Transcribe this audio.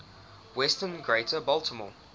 western greater baltimore